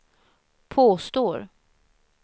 påstår